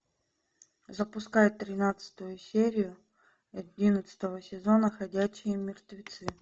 запускай тринадцатую серию одиннадцатого сезона ходячие мертвецы